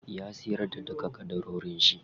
Ya siyar da duka ƙadarorin shi.